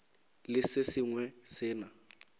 le se sengwe se na